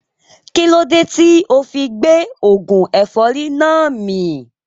Kílódé tíì ofi gbé oògùn ẹ̀fọ́rì náà mì